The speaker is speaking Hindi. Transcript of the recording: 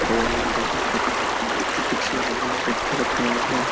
बजरंगबली पत पत्थर उठाया है।